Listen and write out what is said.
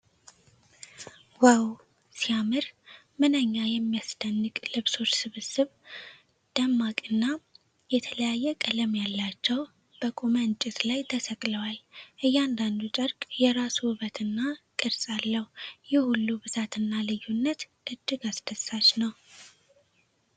ዋው ሲያምር! ምንኛ የሚያስደንቅ ልብሶች ስብስብ። ደማቅና የተለያየ ቀለም ያላቸው፣ በቆመ እንጨት ላይ ተሰቅለዋል። እያንዳንዱ ጨርቅ የራሱ ውበትና ቅርፅ አለው። ይህ ሁሉ ብዛትና ልዩነት እጅግ አስደሳች ነው።